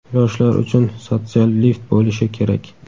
yoshlar uchun "sotsial lift" bo‘lishi kerak.